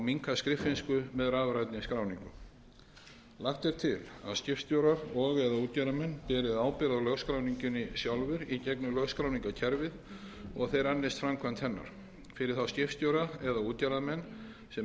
minnka skriffinsku með rafrænni skráningu lagt er til að skipstjórar og eða útgerðarmenn beri ábyrgð á lögskráningunni sjálfir í gegnum lögskráningarkerfið og að þeir annist framkvæmd hennar fyrir þá skipstjóra eða útgerðarmenn sem